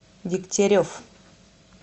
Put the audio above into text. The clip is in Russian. дегтярев